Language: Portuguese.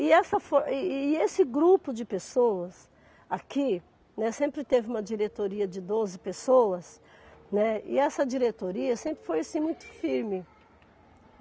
E essa fo e e esse grupo de pessoas aqui, né, sempre teve uma diretoria de doze pessoas, né, e essa diretoria sempre foi assim muito firme.